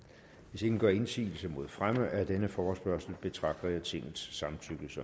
hvis ingen gør indsigelse mod fremme af denne forespørgsel betragter jeg tingets samtykke som